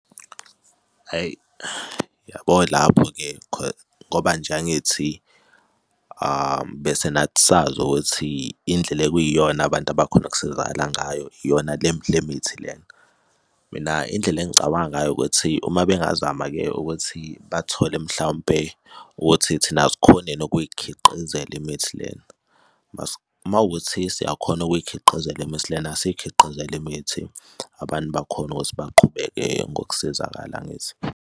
Hhayi, uyabo lapho-ke ngoba nje angithi bese nathi sazo ukuthi indlela ekuyiyona abantu abakhona ukusizakala ngayo iyona le mithi lena. Mina indlela engicabanga ngayo ukuthi uma bengazama-ke ukuthi bathole mhlawumpe ukuthi thina sikhone nokuy'khiqizela imithi lena uma wukuthi siyakhona ukuy'khiqizela imithi lena esiy'khiqizele imithi, abantu bakhona ukuthi baqhubeke ngokusizakala, angithi?